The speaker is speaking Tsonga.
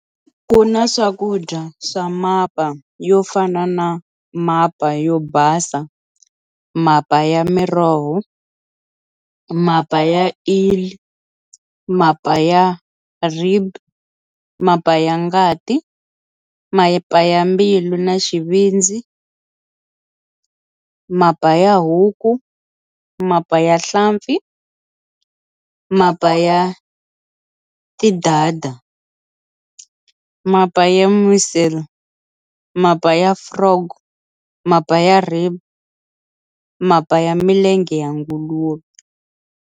Kuna swakudya swa mapa yofana na mapa yo basa, mapa ya miroho, mapa ya eel, mapa ya rib, mapa ya ngati, mapa ya mbilu na xivindzi, mapa ya huku, mapa ya nhlampfi, mapa ya tidada, mapa ya mussel, mapa ya frog, mapa ya rib, mapa ya milenge ya nguluve